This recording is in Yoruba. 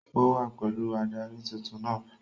Ó wá pẹ̀lú adarí tuntun náà